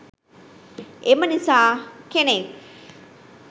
එම නිසා කෙනෙක්